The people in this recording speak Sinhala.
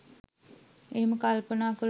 එහෙම කල්පනා කළොත්